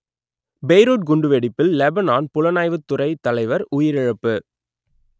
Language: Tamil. பெய்ரூட் குண்டுவெடிப்பில் லெபனான் புலனாய்வுத் துறைத் தலைவர் உயிரிழப்பு